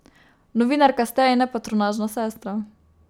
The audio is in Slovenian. Novinarka ste in ne patronažna sestra.